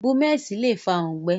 Búmẹ̀sì lé fàa òǹgbẹ